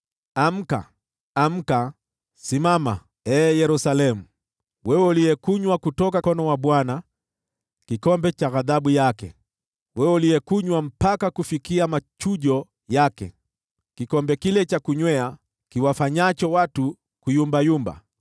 Amka, amka! Simama, ee Yerusalemu, wewe uliyekunywa kutoka mkono wa Bwana kikombe cha ghadhabu yake, wewe uliyekunywa mpaka kufikia machujo yake, kikombe kile cha kunywea kiwafanyacho watu kuyumbayumba.